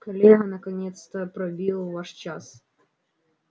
коллега наконец пробил ваш час